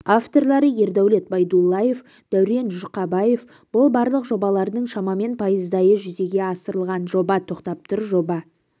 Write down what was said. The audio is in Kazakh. авторлары ердәулет байдуллаев дәурен жұрқабаев бұл барлық жобалардың шамамен пайыздайы жүзеге асырылған жоба тоқтап тұр жоба